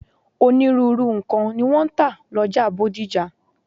Onírúurú nǹkan ni wọ́n ń tà lọ́jà Bódìjà.